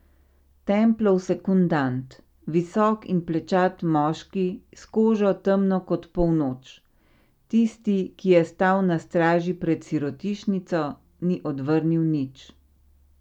Templov sekundant, visok in plečat moški s kožo, temno kot polnoč, tisti, ki je stal na straži pred sirotišnico, ni odvrnil nič.